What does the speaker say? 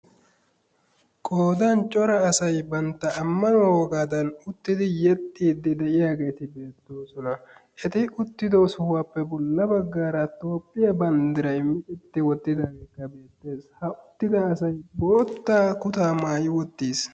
Qoodan cora asay bantta ammanuwa wogaadan uttidi yexxiiddi de"iyageeti beettoosona. Eti uttido sohuwappe bolla baggaara toophphiya banddirayi micetti wottidaageekka beettes. Ha uttida boottaa kutaa maayi uttis.